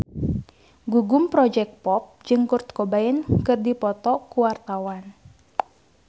Gugum Project Pop jeung Kurt Cobain keur dipoto ku wartawan